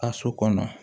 Ka so kɔnɔ